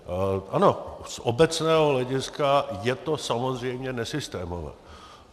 Ano, z obecného hlediska je to samozřejmě nesystémové.